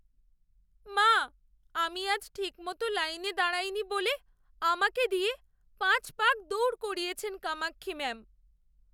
মা, আমি আজ ঠিকমতো লাইনে দাঁড়াইনি বলে আমাকে দিয়ে পাঁচ পাক দৌড় করিয়েছেন কামাক্ষী ম্যাম।